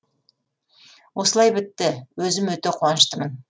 осылай бітті өзім өте қуаныштымын